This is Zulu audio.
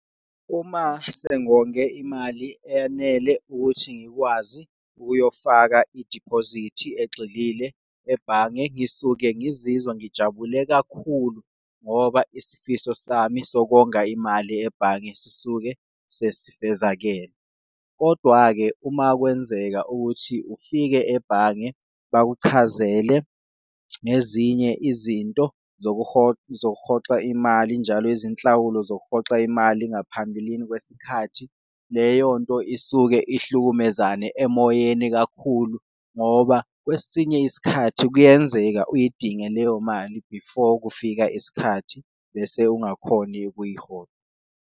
Uma sengonge imali eyanele ukuthi ngikwazi ukuyofaka idibhozithi egxilile ebhange, ngisuke ngizizwa ngijabule kakhulu ngoba isifiso sami sokonga imali ebhange sisuke sasifezakele. Kodwa-ke, uma kwenzeka ukuthi ufike ebhange bakuchazele nezinye izinto zokuhoxa imali njalo izinhlawulo zokuxoxa imali ngaphambilini kwesikhathi. Leyonto isuke ihlukumezane emoyeni kakhulu ngoba kwesinye isikhathi kuyenzeka uyidinge leyo mali before kufika isikhathi bese ungakhoni ukuyihola.